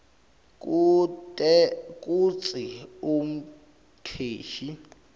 kute kutsi umcashi